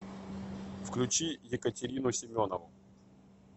включи екатерину семенову